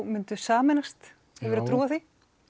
myndu sameinast hefurðu trú á því